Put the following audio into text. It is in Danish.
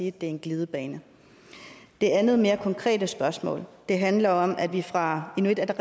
at det er en glidebane det andet mere konkrete spørgsmål handler om at vi fra inuit